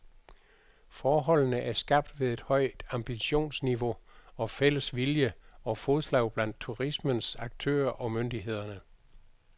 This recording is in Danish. Forholdene er skabt ved et højt ambitionsniveau og fælles vilje og fodslag blandt turismens aktører og myndighederne.